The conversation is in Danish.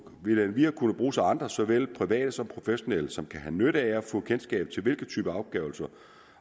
vil endvidere kunne bruges af andre såvel private som professionelle som kan have nytte af at få kendskab til hvilke typer afgørelser